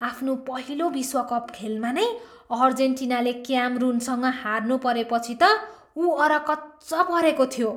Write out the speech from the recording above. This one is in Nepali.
आफ्नो पहिलो विश्वकप खेलमा नै अर्जेन्टिनाले क्यामरुनसँग हार्नुपरेपछि त ऊ अरकच्च परेको थियो।